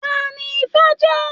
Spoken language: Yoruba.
Taní ifá jẹ?